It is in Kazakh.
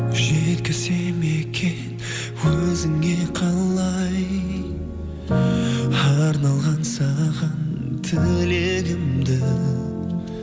жеткізсем екен өзіңе қалай арналған саған тілегімді